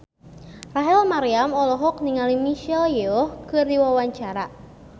Rachel Maryam olohok ningali Michelle Yeoh keur diwawancara